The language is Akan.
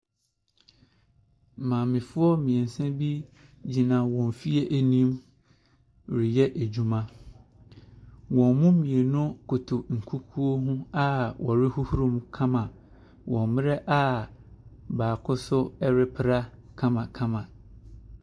Maamefoɔ mmiɛnsa bi gyina wɔn fie ɛnim reyɛ adwuma. Wɔn mo mmienu koto nkukuo ho a wɔrehohoro mu kama wɔ mmrɛ a baako nso ɛrepra kamakama.